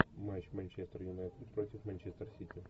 матч манчестер юнайтед против манчестер сити